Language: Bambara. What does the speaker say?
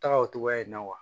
Taga o cogoya in na wa